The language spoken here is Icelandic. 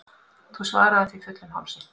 Þú svaraðir því fullum hálsi.